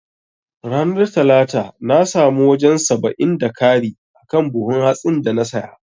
Ranar talata na samu wajan saba'in da kari akan buhun hatsin na saya